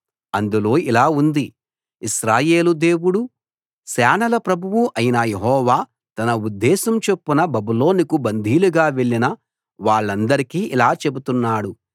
అందులో ఇలా ఉంది ఇశ్రాయేలు దేవుడూ సేనల ప్రభువూ అయిన యెహోవా తన ఉద్దేశం చొప్పున బబులోనుకు బందీలుగా వెళ్ళిన వాళ్ళందరికీ ఇలా చెబుతున్నాడు